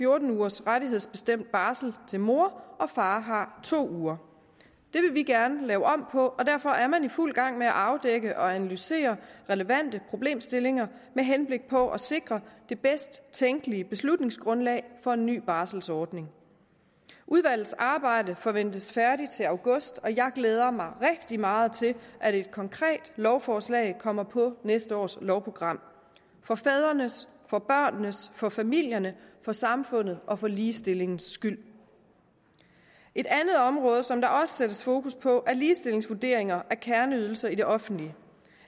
ugers rettighedsbestemt barsel til mor og far har to uger det vil vi gerne lave om på derfor er man i fuld gang med at afdække og analysere relevante problemstillinger med henblik på at sikre det bedst tænkelige beslutningsgrundlag for en ny barselsordning udvalgets arbejde forventes færdigt til august og jeg glæder mig rigtig meget til at et konkret lovforslag kommer på næste års lovprogram for fædrenes for børnenes for familiernes for samfundets og for ligestillingens skyld et andet område som der også sættes fokus på er ligestillingsvurderinger af kerneydelser i det offentlige det